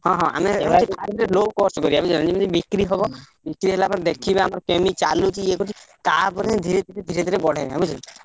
ହଁ ହଁ ଆମେ low cost କରିଆ ବୁଝିହେଲାନା ଯେମିତି ବିକ୍ରି ହବ ବିକ୍ରି ହେଲା ପରେ ଦେଖିବା ଆମର କେମିତି ଚାଲୁଚି ଇଏ କରୁଚି? ତାପରେ ଯାଇ ଧୀରେଧୀରେ ଧୀରେଧୀରେ ବଢେଇବେ ବୁଝିହେଲାନା।